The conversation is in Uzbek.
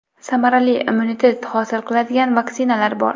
Samarali immunitet hosil qiladigan vaksinalar bor.